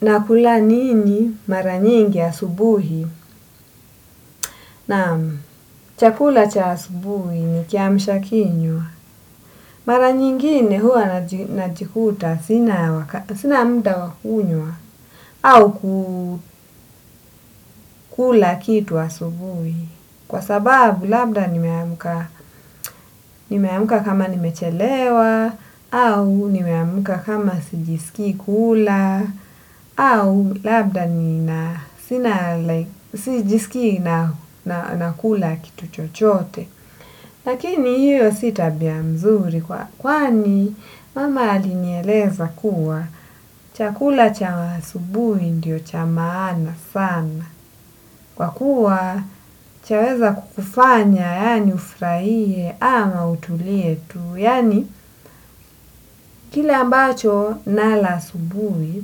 Nakula nini mara nyingi asubuhi? Naam, chakula cha asubuhi ni kiamsha kinywa. Mara nyingine huwa najikuta sina wakati sina mda wa kunywa. Au kula kitu asubuhi. Kwa sababu labda nimeamka nimeamka kama nimechelewa, au nimeamka kama sijiski kula, au labda sina, sijiskii na kula kitu chochote. Lakini hio si tabia nzuri kwani mama alinieleza kuwa chakula cha asubui ndio cha maana sana. Kwa kuwa cha weza kukufanya yani ufurahie ama utulie tu. Yani, kile ambacho nala asubuhi,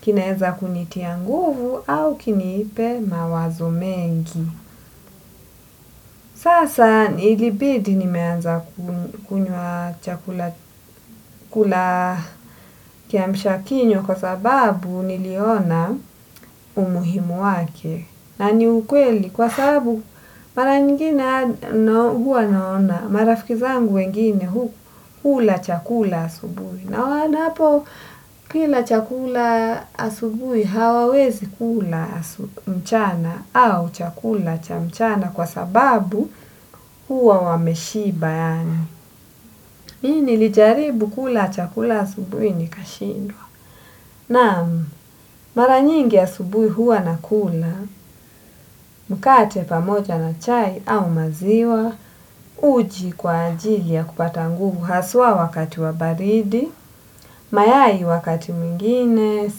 kinaeza kunitia nguvu au kiniipe mawazo mengi. Sasa, ilibidi nimeanza kula kiamsha kinywa kwa sababu niliona umuhimu wake. Nani ukweli kwa sababu mara nyingine hua naona. Marafiki zangu wengine hula chakula asubuhi. Na wanapo kila chakula asubui hawawezi kula mchana au chakula cha mchana kwa sababu huwa wameshiba yani. Hii nilijaribu kula chakula asubuhi nikashindwa. Naam, mara nyingi asubuhi huwa nakula, mkate pamoja na chai au maziwa, uji kwa ajili ya kupata nguvu haswa wakati wa baridi, mayai wakati mwingine,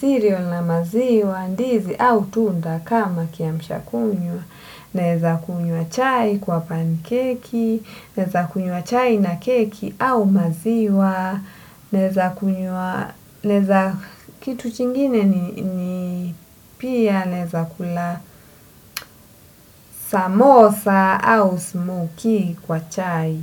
cereal na maziwa, ndizi au tunda kama kiamsha kinywa. Naeza kunywa chai kwa pancake, naeza kunywa chai na keki au maziwa, naeza kitu chingine ni pia naeza kula samosa au smokoe kwa chai.